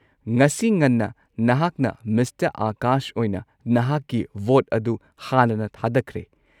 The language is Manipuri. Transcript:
ꯉꯁꯤ ꯉꯟꯅ ꯅꯍꯥꯛꯅ ꯃꯤꯁꯇꯔ ꯑꯥꯀꯥꯁ ꯑꯣꯏꯅ ꯅꯍꯥꯛꯀꯤ ꯚꯣꯠ ꯑꯗꯨ ꯍꯥꯟꯅꯅ ꯊꯥꯗꯈ꯭ꯔꯦ꯫